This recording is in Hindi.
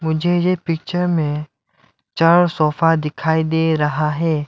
मुझे यह पिक्चर में चार सोफा दिखाई दे रहा है।